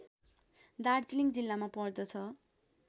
दार्जिलिङ जिल्लामा पर्दछ